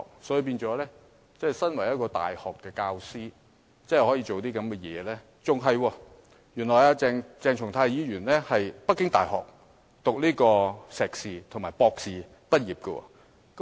鄭松泰議員身為大學講師，竟然做出這種行為，更甚的是，原來鄭松泰議員是在北京大學修讀碩士和博士畢業的。